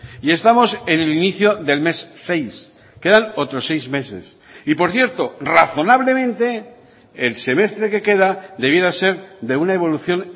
y estamos en el inicio del mes seis quedan otros seis meses y por cierto razonablemente el semestre que queda debiera ser de una evolución